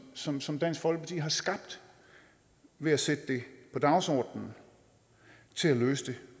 som som dansk folkeparti har skabt ved at sætte det på dagsordenen til at løse det